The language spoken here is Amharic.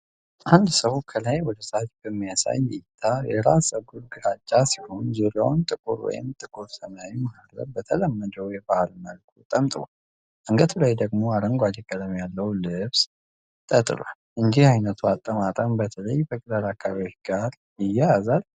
አንድ ሰው ከላይ ወደታች በሚያሳይ እይታ የራስ ጸጉሩ ግራጫ ሲሆን ዙሪያውን ጥቁር ወይም ጥቁር ሰማያዊ መሀረብ በተለመደው የባህል መልኩ ጠምጥሟል። አንገቱ ላይ ደግሞ አረንጓዴ ቀለም ያለው ልብስ ተጥሏል። እንዲህ ዓይነቱ አጠማጠም በተለይ በገጠር አካባቢዎች ጋር ይያያዛል?